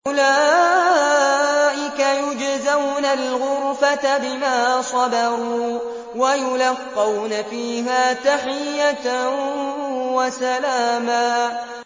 أُولَٰئِكَ يُجْزَوْنَ الْغُرْفَةَ بِمَا صَبَرُوا وَيُلَقَّوْنَ فِيهَا تَحِيَّةً وَسَلَامًا